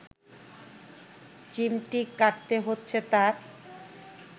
চিমটি কাটতে হচ্ছে তার